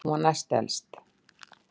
Hún var næst elst.